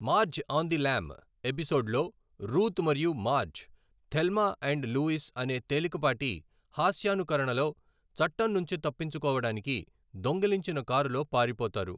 మార్జ్ on the lam' ఎపిసోడ్లో Ruth మరియు Marge, Thelma and Louise అనే తేలికపాటి హాస్యానుకరణలో, చట్టం నుంచి తప్పించుకోవడానికి దొంగిలించిన కారులో పారిపోతారు.